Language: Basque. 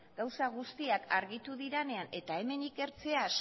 gauza guztiak argitu direnean eta hemen ikertzea